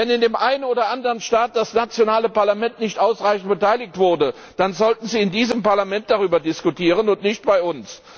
Wenn in dem einen oder anderen Staat das nationale Parlament nicht ausreichend beteiligt wurde, dann sollten Sie in diesem Parlament darüber diskutieren und nicht bei uns.